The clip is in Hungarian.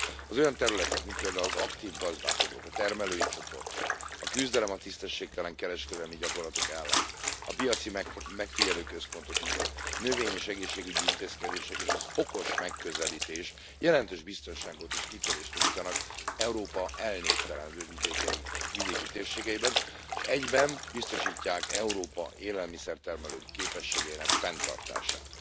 Az olyan területek, mint például az aktív gazdálkodók, a termelői csoportok, a küzdelem a tisztességtelen kereskedelmi gyakorlatok ellen, a piaci megfigyelőközpontok ügye, növény és egészségügyi intézkedések, és az okos megközelítés jelentős biztonságot és kitörést nyújtanak Európa elnéptelenedő vidéki térségeiben, és egyben biztosítják Európa élelmiszertermelő képességeinek fenntartását.